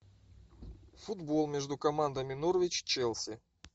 футбол между командами норвич челси